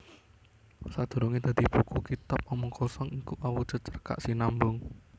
Sadurungé dadi buku Kitab Omong Kosong iku awujud cerkak sinambung